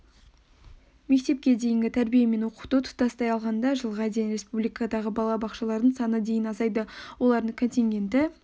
мектепке дейінгі тәрбие мен оқыту тұтастай алғанда жылға дейін республикадағы балабақшалардың саны дейін азайды олардың контингенті